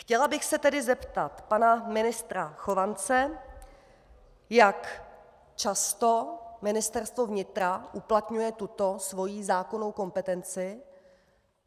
Chtěla bych se tedy zeptat pana ministra Chovance, jak často Ministerstvo vnitra uplatňuje tuto svoji zákonnou kompetenci.